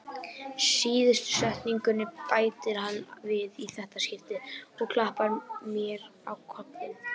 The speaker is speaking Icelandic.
Síðustu setningunni bætir hann við í þetta skipti og klappar mér á kollinn.